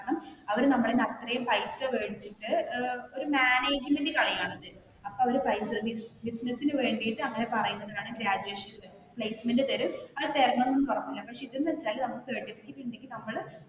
അവർ നമ്മളിൽ നിന്ന് അത്രയും പൈസ മേടിച്ചിട്ട് ഒരു മാനേജ്‌മന്റ് കളിയാണിത് അപ്പോ അവര് പൈസ ബിസിനസിന് വേണ്ടിയിട്ട് അങ്ങനെ പറയുന്നതാണ് ഗ്രാജുവേഷൻ പ്ലേസ്മെന്റ് തരും അത് തരണോന്ന് പറഞ്ഞു ഇതെന്ന് വെച്ചാലും നമുക്ക നമ്മള്